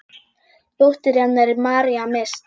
Dóttir hennar er María Mist.